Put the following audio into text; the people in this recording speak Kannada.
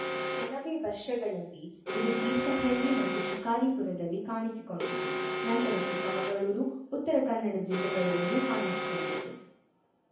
ಕೆಲವೇ ವರ್ಷಗಳಲ್ಲಿ ಇದು ತೀರ್ಥಹಳ್ಳಿ ಮತ್ತು ಶಿಕಾರಿಪುರದಲ್ಲಿ ಕಾಣಿಸಿಕೊಂಡಿತು ನಂತರ ಚಿಕ್ಕಮಗಳೂರು ಉತ್ತರ ಕನ್ನಡ ಜಿಲ್ಲೆಗಳಲ್ಲಿಯೂ ಕಾಣಿಸಿಕೊಂಡಿತು